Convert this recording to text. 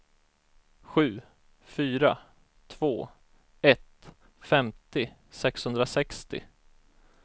sju fyra två ett femtio sexhundrasextio